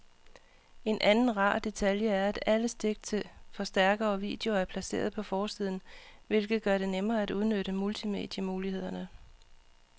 En anden rar detalje er, at alle stik til forstærker og video er placeret på forsiden, hvilket gør det nemmere at udnytte multimedie-mulighederne.